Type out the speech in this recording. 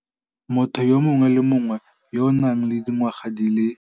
Motho yo mongwe le yo mongwe yo a nang le dingwaga di le